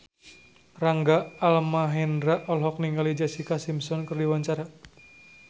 Rangga Almahendra olohok ningali Jessica Simpson keur diwawancara